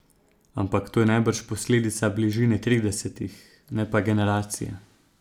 Ampak to je najbrž posledica bližine tridesetih, ne pa generacije.